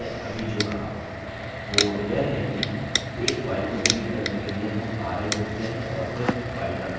वो यह कि एक file को डिलीट करने के लिए rm rm लिखते हैं और फिर file का name